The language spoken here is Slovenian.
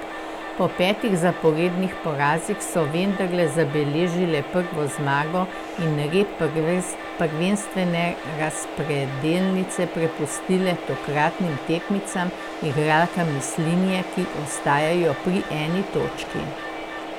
Po petih zaporednih porazih so vendarle zabeležile prvo zmago in rep prvenstvene razpredelnice prepustile tokratnim tekmicam, igralkam Mislinje, ki ostajajo pri eni točki.